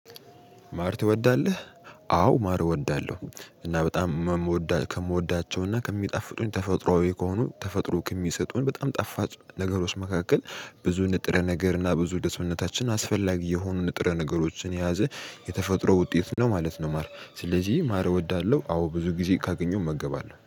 ማር ትወዳለህ? አዎ ማር እወዳለሁ። እና በጣም መ ምወዳ ከምወዳቸው እና ከሚጣፍጡኝ ተፈጥሮአዊ ከሆኑ ተፈጥሮ ከሚሰጡን በጣም ጣፋጭ ነገሮች መካከል ብዙ ንጥረ ነገር እና ብዙ ለ ሰውነታችን አስፈላጊ የሆኑ ንጥረ ነገሮችን የያዘ የተፈጥሮ ውጤት ነው ማለት ነው። ማር ስለዚህ ማር እወዳለሁ አዎ ብዙ ጊዜ ካገኘሁ እመገባለሁ